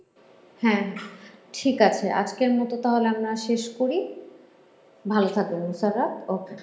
হ্যাঁ হ্যাঁ। ঠিক আছে। আজকের মতো তাহলে আমরা শেষ করি। ভালো থাকবেন মুসাররদ্ । okay ।